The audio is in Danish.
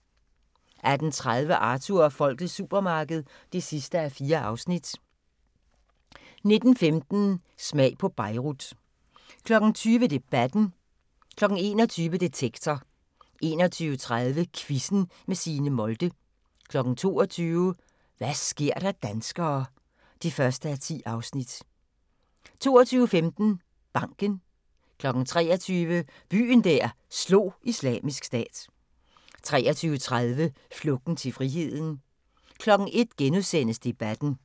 18:30: Arthur og folkets supermarked (4:4) 19:15: Smag på Beirut 20:00: Debatten 21:00: Detektor 21:30: Quizzen med Signe Molde 22:00: Hva' sker der danskere (1:10) 22:15: Banken 23:00: Byen der slog Islamisk Stat 23:30: Flugten til friheden 01:00: Debatten *